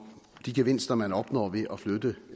de gevinster man opnår ved at flytte